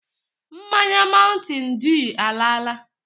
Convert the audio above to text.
Mmanya mountain dew alaala.